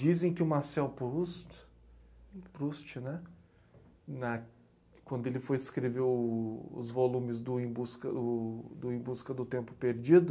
Dizem que o Marcel Proust, Proust né?! Na. Quando ele foi escrever o... os volumes do Em Busca o... Do Em Busca do Tempo Perdido,